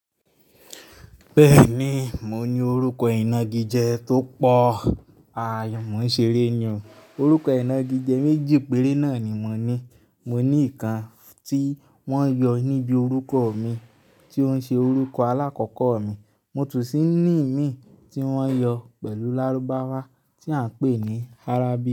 Bẹ́ẹ̀ni, mo ní orúkọ ìnagijẹ tó pọ̀. Mo ń ṣeré ni o. Orúkọ ìnagijẹ méjì péré náà ni mo ní. Mo ní ìkan tí wọ́n yọ níbi orúkọ mi tí ó ń ṣe orúkọ alákọ̀kọ̀ mi. Mo tún ṣì ní ìmí tí wọ́n yọ pẹ̀lú lárúbáwá tí à ń pè ní Arabic.